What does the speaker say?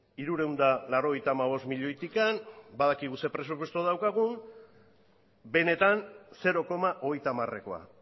hirurehun eta laurogeita hamabost milioitik badakigu zein presupuesto daukagun benetan zero koma hogeita hamarekoa